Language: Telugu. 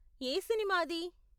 ఏ సినిమా అది?